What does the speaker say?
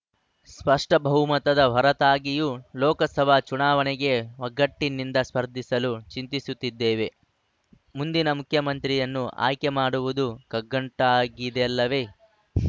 ಸ್ಪಷ್ಟಬಹುಮತದ ಹೊರತಾಗಿಯೂ ಲೋಕಸಭಾ ಚುನಾವಣೆಗೆ ಒಗ್ಗಟ್ಟಿನಿಂದ ಸ್ಪರ್ಧಿಸಲು ಚಿಂತಿಸುತ್ತಿದ್ದೇವೆ ಮುಂದಿನ ಮುಖ್ಯಮಂತ್ರಿಯನ್ನು ಆಯ್ಕೆ ಮಾಡುವುದು ಕಗ್ಗಂಟಾಗಿದೆಯಲ್ಲವೇ